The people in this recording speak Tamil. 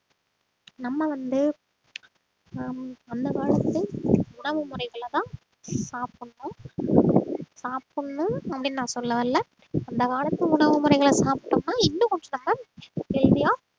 நம்ம வந்து ஆஹ் அந்த காலத்து உணவு முறைகளைதான் சாப்பிடணும் சாப்பிடணும் அப்படின்னு நான் சொல்ல வரலை அந்த காலத்து உணவு முறைகளை சாப்பிட்டோம்ன்னா இன்னும் கொஞ்சம் நாம healthy ஆ